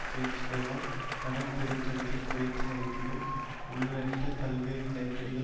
பேச்சுகளால் கடன்பெறும் தகுதியை குறைத்து மதிப்பிடும் உள்ளட்ட பல்வேறு நெருக்கடிகள்